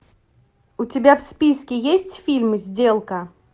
у тебя в списке есть фильм сделка